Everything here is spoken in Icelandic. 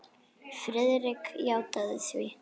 Friðrik játaði því.